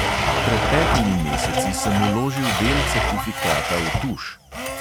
Pred petimi meseci sem vložil del certifikata v tuš.